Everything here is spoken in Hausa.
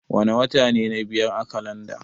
Wana wata ne na biyar a kalanda?